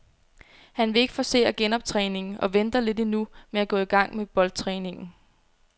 Han vil ikke forcere genoptræningen og venter lidt endnu med at gå i gang med boldtræningen.